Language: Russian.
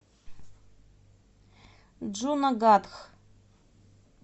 джунагадх